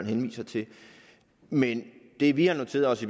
henviser til men det vi har noteret os